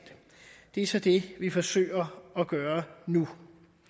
det er så det vi forsøger at gøre nu